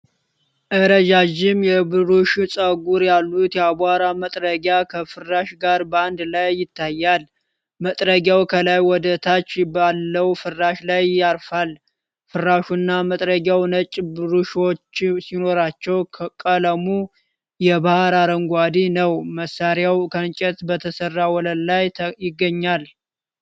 ረጃጅም የብሩሽ ፀጉሮች ያሉት የአቧራ መጥረጊያ ከፍራሽ ጋር በአንድ ላይ ይታያል። መጥረጊያው ከላይ ወደታች ባለው ፍራሽ ላይ ያርፋል። ፍራሹና መጥረጊያው ነጭ ብሩሽዎች ሲኖሯቸው ቀለሙ የባሕር አረንጓዴ ነው። መሳሪያው ከእንጨት በተሠራ ወለል ላይ ይገኛል።